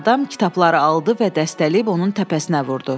Həmin adam kitabları aldı və dəstələyib onun təpəsinə vurdu.